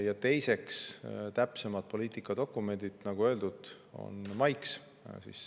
Ja teiseks, täpsemad poliitikadokumendid, nagu öeldud, tulevad maiks.